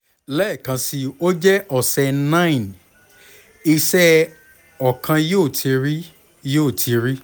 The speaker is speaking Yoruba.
lẹẹkansi o jẹ ọsẹ 9 iṣẹ ọkan yoo ti ri yoo ti ri